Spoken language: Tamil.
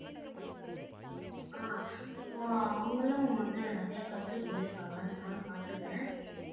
ஆஹ் இப்போ அவங்களும் வந்து நிறைய கருத்து சொல்லியிருக்காங்க நானும் பாத்துக்குறேன்